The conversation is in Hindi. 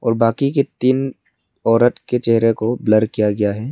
बाकी के तीन औरत के चेहरे को ब्लर किया गया है।